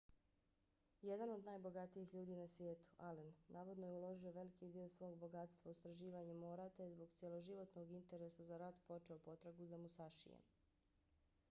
jedan od najbogatijih ljudi na svijetu allen navodno je uložio veliki dio svog bogatstva u istraživanje mora te je zbog cjeloživotnog interesa za rat počeo potragu za musašijem